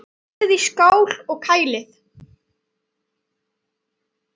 Hellið í skál og kælið.